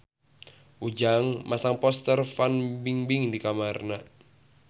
Ujang masang poster Fan Bingbing di kamarna